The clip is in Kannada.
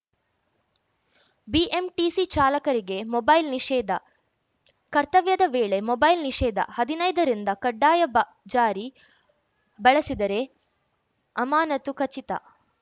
ಬಿಎಂಟಿಸಿ ಚಾಲಕರಿಗೆ ಮೊಬೈಲ್‌ ನಿಷೇಧ ಕರ್ತವ್ಯದ ವೇಳೆ ಮೊಬೈಲ್‌ ನಿಷೇಧ ಹದಿನೈದರಿಂದ ಕಡ್ಡಾಯ ಬ ಜಾರಿ ಬಳಸಿದರೆ ಅಮಾನತು ಖಚಿತ